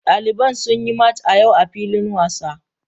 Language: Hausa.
Daliban sun yi machin a yau a filin wasa.